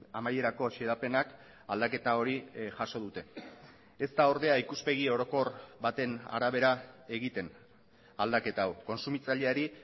amaierako xedapenak aldaketa hori jaso dute ez da ordea ikuspegi orokor baten arabera egiten aldaketa hau kontsumitzaileari